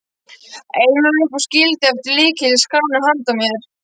Einar upp og skildi eftir lykil í skránni handa mér.